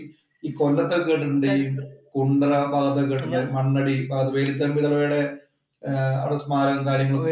ഈ കൊല്ലത്തൊക്കെ കേട്ടിട്ടുണ്ട്. ഈ കുണ്ടറ ആ ഭാഗത്തൊക്കെ കേട്ടിട്ടുണ്ട്. മണ്ണടി വേലുത്തമ്പി ദളവയുടെ ഒരു സ്മാരകവും, കാര്യങ്ങളും